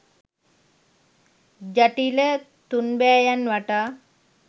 ජටිල තුන්බෑයන් වටා